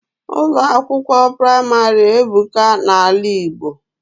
Ụlọ akwụkwọ praịmarị ebuka na ala Igbo